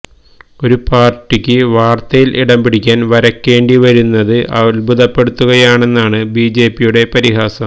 ഒരു പാര്ട്ടിക്ക് വാര്ത്തയില് ഇടം പിടിക്കാന് വരയ്ക്കേണ്ടി വരുന്നത് അത്ഭുതപ്പെടുത്തുകയാണെന്നാണ് ബിജെപിയുടെ പരിഹാസം